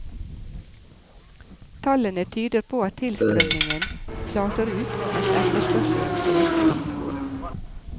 Tallene tyder på at tilstrømningen flater ut mens etterspørselen øker.